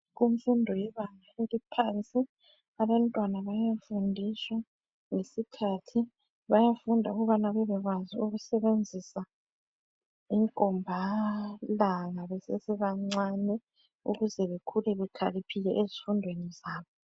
Kumfundo yebanga eliphansi abantwana bayafundiswa ngesikhathi. Bayafunda ukubana bebekwazi ukusebenzisa inkombalanga besesebancane ukuze bekhule bekhaliphile ezifundweni zabo.